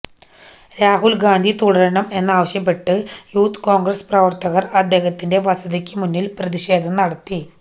രാഹുല് ഗാന്ധി തുടരണം എന്നാവശ്യപ്പെട്ട് youth Congress പ്രവര്ത്തകര് അദ്ദേഹത്തിന്റെ വസതിക്ക് മുന്നില് പ്രതിഷേധം നടത്തി